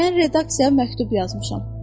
Mən redaksiyaya məktub yazmışam.